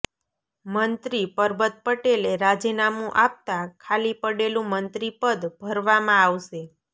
મંત્રી પરબત પટેલે રાજીનામું આપતા ખાલી પડેલું મંત્રીપદ ભરવામાં આવશે